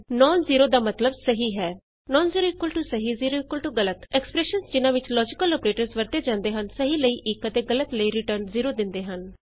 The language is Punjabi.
ਨੋਨ ਜ਼ੀਰੋ ਸਹੀ ਨੋਨ ਜ਼ੇਰੋ ਟਰੂ ਜ਼ੀਰੋ ਦਾ ਅਰਥ ਹੈ ਗਲਤ ਜ਼ੀਰੋ ਗਲਤ ਜ਼ੇਰੋ ਐਕਸਪਰੈਸ਼ਨਸ ਜਿਨ੍ਹਾਂ ਵਿਚ ਲੋਜੀਕਲ ਅੋਪਰੇਟਰਸ ਵਰਤੇ ਜਾਂਦੇ ਹਨ ਸਹੀ ਲਈ 1 ਅਤੇ ਗਲਤ ਲਈ ਰਿਟਰਨ 0 ਦਿੰਦੇ ਹਨ